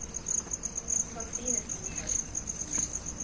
Kathrine Storhaug